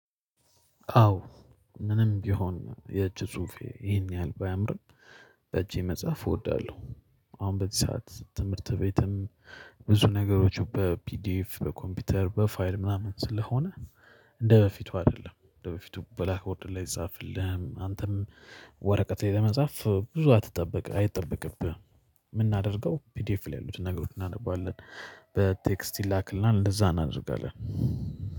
አዎ ምንም ቢሆን የእጅ ጽሁፌ ይሄን ያህል ባያምርም በእጄ መጽሐፍ እወዳለሁ። አሁን በዚህ ሰዓት ትምህርት ቤትም ብዙ ነገሮች በፒዲኤፍ በኮምፒውተር በፋይል ምናምን ስለሆነ እንደበፊቱ አይደለም እንደበፊቱ ብላክ ቦርድ ላይ አይጻፍልህም አንተም ወረቀት ላይ ለመጻፍ ብዙ አትጠብቅ አይጠበቅብህም። የምናደርገው ፒዲኤፍ ላይ ያሉትን ነገሮች እናነባለን በቴክስት ይላክልናል እንደዛ እናደርጋለን።